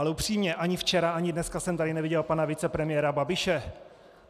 Ale upřímně, ani včera ani dneska jsem tady neviděl pana vicepremiéra Babiše.